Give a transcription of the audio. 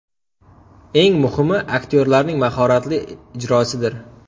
Eng muhimi – aktyorlarning mahoratli ijrosidir.